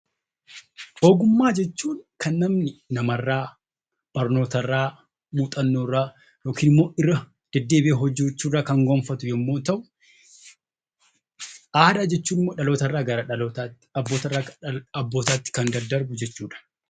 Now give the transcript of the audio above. Ogummaa jechuun kan namni nama irraa, barnoota irraa, muuxannoo irraa yookiin immoo irra deddeebi'ee kan gonfatu yemmuu ta'u, aadaa jechuun immoo dhaloota irraa gara dhalootatti , abboota irraa gara abbootaatti kan daddarbu jechuudha.